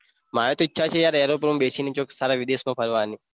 મારી તો ઈચ્છા છે યાર airplane માં બેસીને ચોક સારા વિદેશમાં ફરવાની